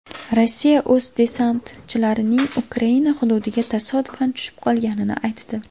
Rossiya o‘z desantchilarining Ukraina hududiga tasodifan tushib qolganini aytdi.